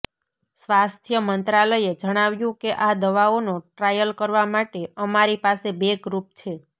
સ્વાસ્થ્ય મંત્રાલયે જણાવ્યું કે આ દવાઓનો ટ્રાયલ કરવા માટે અમારી પાસે બે ગ્રુપ છે